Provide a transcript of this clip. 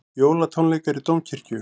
Jólatónleikar í Dómkirkju